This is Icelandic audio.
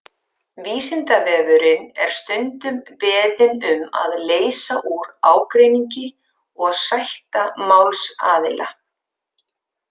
Vísindavefurinn er stundum beðinn um að leysa úr ágreiningi og sætta málsaðila.